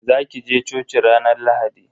Za ki je coci ranar Lahadi?